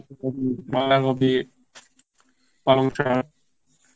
বাঁধা কপি, পালং শাক